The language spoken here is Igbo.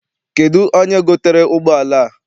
Kedụ onye gotere ụgbọala a?